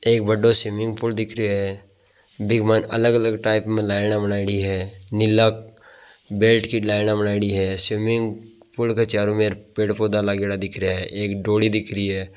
एक बड़ों swimming pool दिख रियो है बिंग मा अलग अलग टाइप मे लाइना आ बनाईडी है नीला बेल्ट की लाइना बनाईडी है स्विमिंग पूल के चारों मेर पेड़ पौधा लागेड़ा दिख रिया है एक डोली दिख रही है।